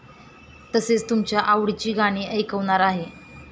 तसेच तुमच्या आवडीची गाणी ऐकवणार आहे.